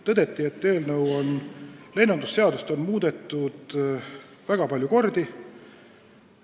Tõdeti, et lennundusseadust on muudetud väga palju kordi.